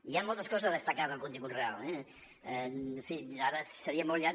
hi han moltes coses a destacar del contingut real eh en fi ara seria molt llarg